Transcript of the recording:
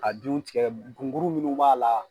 A jun tigɛ gunguru munnu b'a la